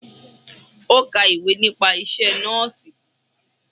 Ó ka ìwé nípa isẹ́ Nọ́ọ̀sì.